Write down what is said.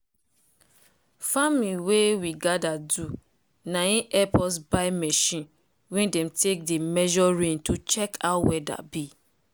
farming wey we gather do na in help us buy machine wey dem take dey measure rain to check how weather be.